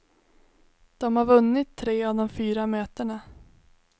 De har vunnit tre av de fyra mötena.